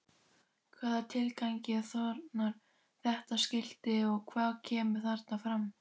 Hvaða tilgangi þjónar þetta skilti og hvað kemur þarna fram?